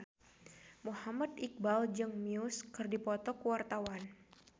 Muhammad Iqbal jeung Muse keur dipoto ku wartawan